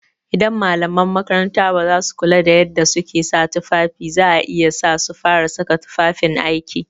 Idan malaman makaranta basu kula da yadda suke sa tufafi za iya sa su fara saka tufafin aiki.